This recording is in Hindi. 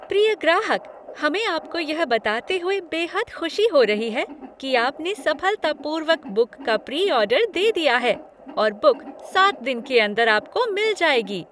प्रिय ग्राहक! हमें आपको यह बताते हुए बेहद खुशी हो रही है कि आपने सफलतापूर्वक बुक का प्री ऑर्डर दे दिया है और बुक सात दिन के अंदर आपको मिल जाएगी।